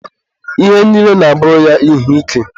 Ihe niile na-abụrụ ya ihe ike.